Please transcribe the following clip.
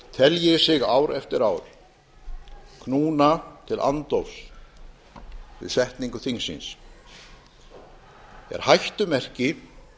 telji sig ár eftir ár knúna til andófs við setningu þingsins er hættumerki